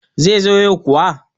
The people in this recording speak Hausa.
zai zo yau kuwa?